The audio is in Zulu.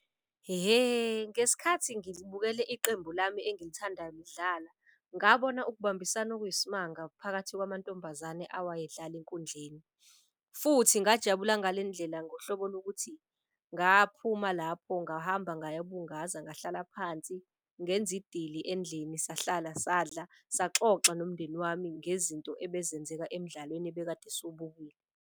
Ihe, ngesikhathi ngibukele iqembu lami engilithandayo lidlala ngabona ukubambisana okuyisimanga phakathi kwamantombazane awayedlala enkundleni. Futhi ngajabula ngale ndlela ngohlobo lokuthi ngaphuma lapho ngahamba ngaya bungaza, ngahlala phansi ngenzi idili endlini. Sahlala sadla saxoxa nomndeni wami ngezinto ebezenzeka emdlalweni ebekade .